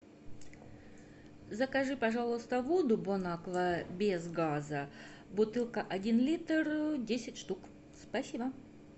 закажи пожалуйста воду бон аква без газа бутылка один литр десять штук спасибо